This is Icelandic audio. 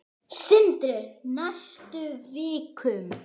Sindri: Næstu vikum?